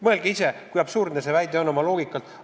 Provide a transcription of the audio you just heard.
Mõelge ise, kui absurdne see väide oma loogika poolest on.